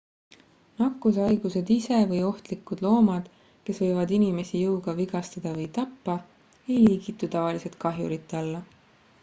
nakkushaigused ise või ohtlikud loomad kes võivad inimesi jõuga vigastada või tappa ei liigitu tavaliselt kahjurite alla